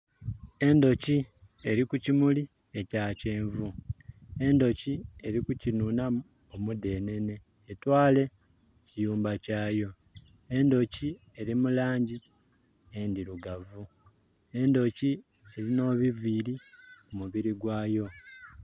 Endhoki eli ku kimulib ekya kyenvu. Endhoki eli ku kinunamu omudenenhe etwale mu kiyumba kyayo. Endhoki eli mu langi endhirugavu, endhoki erina ebiviiri ku mubiri gwayo.